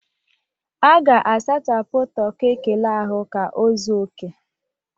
A ga-asachapụ toki ekele ahụ ka ọ zuo oke